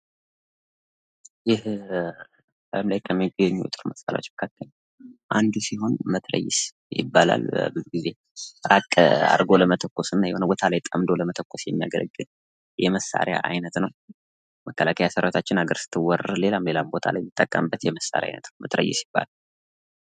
ይህ ጠብ ላይ ከሚገኙ የጦር መሳሪያዎች መካከል አንዱ ሲሆን መትረጊስ ይባላል ብዙ ጊዜ ራቅ አርጎ ለመተኮስ እና የሆነ ቦታ ላይ ጠምዶ ለመተኮስ የሚያገለግል የመሳሪያ አይነት ነው። መከላከያ ሰራዊታችን ሀገር ስትወረር ሌላም ሌላም ቦታ ላይ የሚጠቀምበት የመሳሪያ አይነት ነው ።መትረጊስ ይባላል።